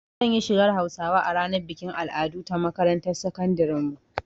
Zan yi shigar Hausawa a ranar bikin al'adu ta makarantar sakandiren mu